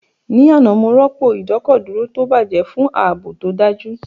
Ní àná, mo rọ́pò ìdọ́kọ̀dúró tó bàjẹ́ fún ààbò tó dájú